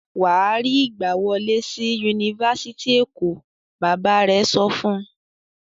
"Wà á rí ìgbàwọlé sí Yunifásitì Èkó! Bàbá rẹ̀ sọ fún un.